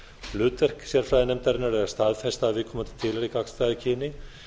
hlutverk sérfræðinefndarinnar er staðfest af viðkomandi gagnstæðu kyni